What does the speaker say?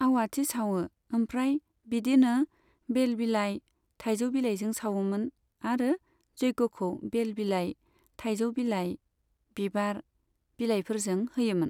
आवाथि सावो, ओमफ्राय बिदिनो बेल बिलाइ, थाइजौ बिलाइजों सावोमोन आरो जग्यखौ बेल बिलाइ, थाइजौ बिलाइ, बिबार, बिलाइफोरजों होयोमोन।